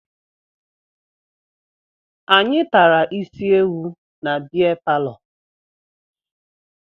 Anyị tara isi ewu na bea palọ